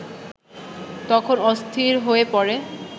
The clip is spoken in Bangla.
তখন অস্থির হয়ে পড়ে